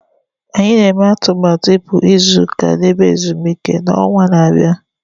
Anyị na-eme atụmatụ ịpụ izu ụka na ebe ezumike n'ọnwa na-abịa